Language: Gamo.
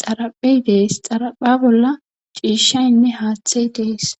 xaraphey dees xarapha bolla ciishaynne haaththey dees